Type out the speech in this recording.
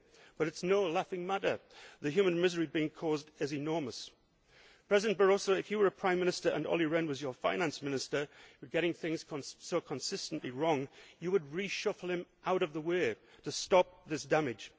Rehn. However, this is no laughing matter. The human misery being caused is enormous. President Barroso, if you were a Prime Minister and Olli Rehn was your Finance Minister, and he was getting things so consistently wrong, you would reshuffle him out of the way to stop this